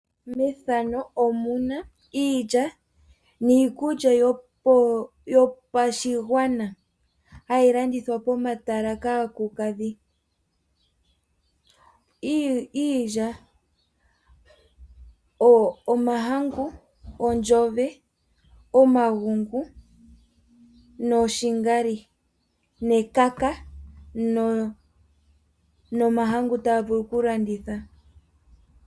Pomatala mpoka hapu yi aantu oyendji ohapu landithwa iinima oyindji ngaashi ilya mbyoka hayi longithwa oku ninga uusila no sho woo iinima oyindji.